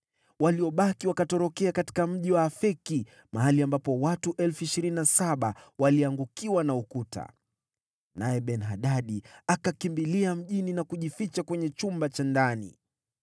Waliobaki wakatorokea katika mji wa Afeki, mahali ambapo watu 27,000 waliangukiwa na ukuta. Naye Ben-Hadadi akakimbilia mjini na kujificha kwenye chumba cha ndani.